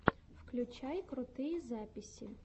включай крутые записи